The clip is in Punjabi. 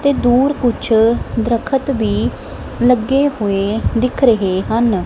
ਤੇ ਦੂਰ ਕੁਛ ਦਰਖਤ ਵੀ ਲੱਗੇ ਹੋਏ ਦਿਖ ਰਹੇ ਹਨ।